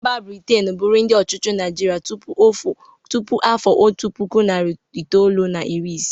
Mba Britin bụrụ ndị ọchịchị Naịjịrị tupu afọ otu puku, nari itolu na iri isii.